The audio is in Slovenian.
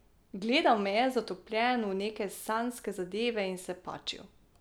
Gledal me je zatopljen v neke sanjske zadeve in se pačil.